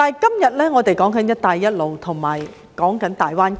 然而，我們今天有"一帶一路"和大灣區。